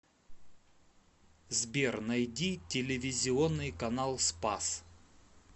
сбер найди телевизионный канал спас